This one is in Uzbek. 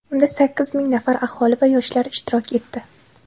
Unda sakkiz ming nafar aholi va yoshlar ishtirok etdi.